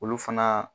Olu fana